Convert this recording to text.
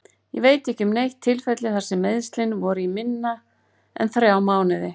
Ég veit ekki um neitt tilfelli þar sem meiðslin voru í minna en þrjá mánuði.